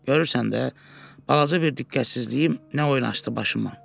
Görürsən də, balaca bir diqqətsizliyim nə oyun açdı başıma.